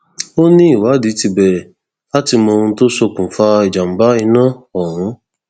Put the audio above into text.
ó ní ìwádìí ti bẹrẹ láti mọ ohun tó ṣokùnfà ìjàmbá iná ọhún